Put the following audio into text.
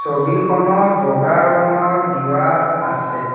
ছবিখনত বগা ৰঙৰ দিৱাল আছে।